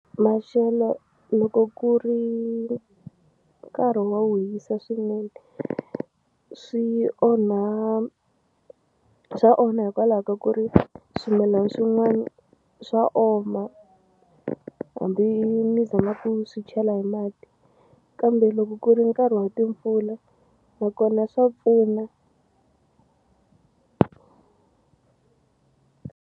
Maxelo loko ku ri nkarhi wo wu hisa swinene swi onha swa onha hikwalaho ka ku ri swimilana swin'wani swa oma hambi mi zama ku swi chela hi mati kambe loko ku ri nkarhi wa timpfula nakona swa pfuna.